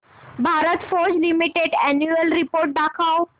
Bharat Forge limited annual report दाखव